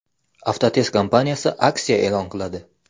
Avtotest kompaniyasi aksiya e’lon qiladi.